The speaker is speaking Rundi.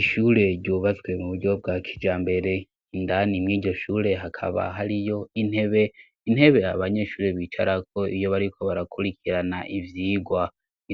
Ishure ryubatswe mu buryo bwa kija mbere indani mw'igyoshure hakaba hari yo intebe intebe abanyeshuri bicara ko iyo bariko barakurikirana ibyigwa